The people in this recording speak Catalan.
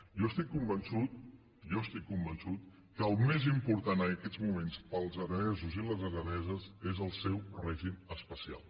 jo estic convençut jo estic convençut que el més important en aquests moments per als aranesos i les araneses és el seu règim especial